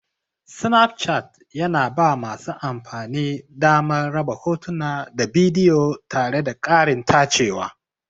Snapchart yana ba masu amfani damar raba hotuna da bidiyo tare da ƙarin tacewa.